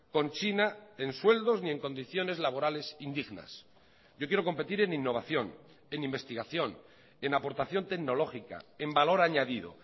con china en sueldos ni en condiciones laborales indignas yo quiero competir en innovación en investigación en aportación tecnológica en valor añadido